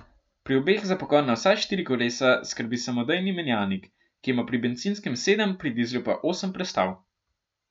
Pri obeh za pogon na vsa štiri kolesa skrbi samodejni menjalnik, ki ima pri bencinskem sedem, pri dizlu pa osem prestav.